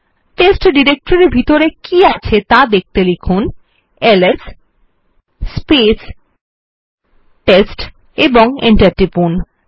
test ডিরেক্টরির ভিতরে কী আছে ত়া দেখতে লিখুন এলএস এবং এন্টার টিপুন